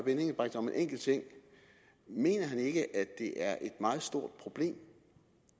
engelbrecht om en enkelt ting mener han ikke at det er et meget stort problem